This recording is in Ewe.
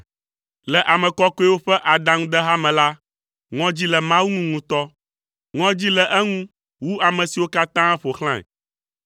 Le ame kɔkɔewo ƒe adaŋudeha me la ŋɔdzi le Mawu ŋu ŋutɔ, ŋɔdzi le eŋu wu ame siwo katã ƒo xlãe.